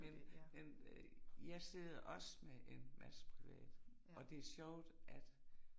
Men men øh jeg sidder også med en masse privat og det sjovt at